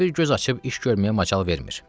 Ta bir göz açıb iş görməyə macal vermir.